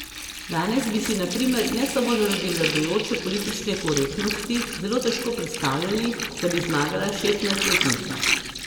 Danes bi si na primer ne samo zaradi vladajoče politične korektnosti zelo težko predstavljali, da bi zmagala šestnajstletnica.